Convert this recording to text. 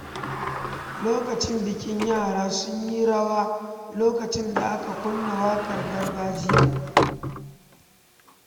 A lokacin bikin, yara sun yi rawa lokacin da aka kunna waƙar gargajiya.